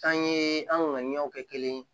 An ye an ka ɲɛw kɛ kelen ye